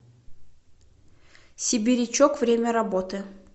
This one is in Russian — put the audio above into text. сибирячок время работы